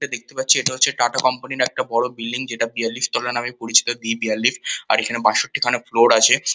এটা দেখতে পাচ্ছি এটা হচ্ছে এটা টাটা কোম্পানি এর একটা বড় বিল্ডিং যেটা বিয়াল্লিশ তলা নামে পরিচিত বি বিয়াল্লিশ আর এখানে বাষট্টি খানা ফ্লোর আছে।